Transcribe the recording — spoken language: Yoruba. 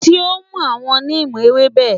ti o mu awọn Neem ewebe